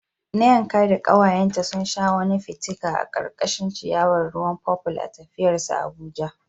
Nneka da kawayenta sun sha wani fitika a karkashin ciyawar ruwan purple a tafiyar su Abuja.